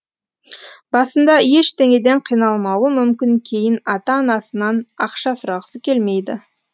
басында ештеңеден қиналмауы мүмкін кейін ата анасынан ақша сұрағысы келмейді